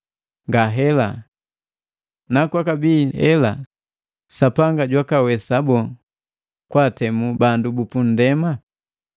Ngahela! Nakwakabii hela Sapanga jwakawesa boo kwa atemu bandu bu punndema?